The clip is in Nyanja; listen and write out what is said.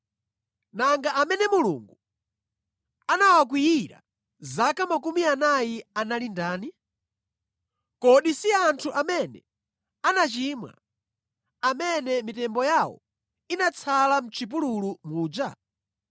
Nanga amene Mulungu anawakwiyira zaka makumi anayi anali ndani? Kodi si anthu amene anachimwa, amene mitembo yawo inatsala mʼchipululu muja?